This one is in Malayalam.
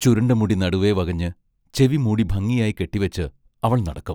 ചുരുണ്ട മുടി നടുവേ വകഞ്ഞ്, ചെവി മൂടി ഭംഗിയായി കെട്ടിവച്ച് അവൾ നടക്കും.